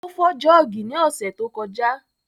Ó fọ́ jọ́ọ̀gì ní ọ̀sẹ̀ tó kọjá